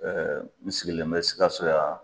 Ɛɛ n sigilen bɛ sikaso yan